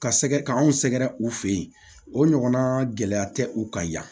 Ka sɛgɛ k'anw sɛgɛrɛ u fɛ yen o ɲɔgɔnna gɛlɛya tɛ u kan yan